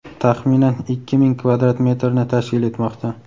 taxminan ikki ming kvadrat metrni tashkil etmoqda.